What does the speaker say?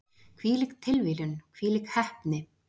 Hvílík tilviljun, hvílík heppni!